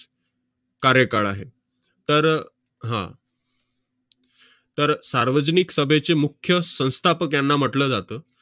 कार्यकाळ आहे. तर, हा. तर सार्वजनिक सभेचे मुख्य संस्थापक यांना म्हटलं जातं.